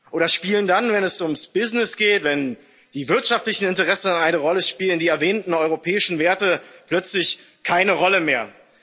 Oder spielen dann, wenn es ums Business geht, wenn die wirtschaftlichen Interessen eine Rolle spielen, die erwähnten europäischen Werte plötzlich keine Rolle mehr?